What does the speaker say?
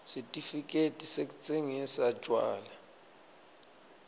sitifiketi sekutsingisa tjwala